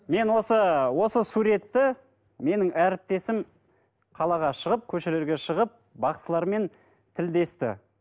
мен осы осы суретті менің әріптесім қалаға шығып көшелерге шығып бақсылармен тілдесті